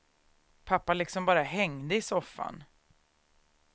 Pappa liksom bara hängde i soffan.